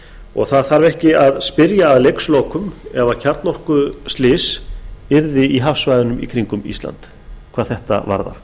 og það þarf ekki að spyrja að leikslokum ef kjarnorkuslys verður í hafsvæðunum í kringum ísland hvað þetta varðar